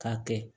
K'a kɛ